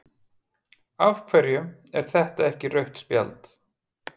af hverju er þetta ekki rautt spjald?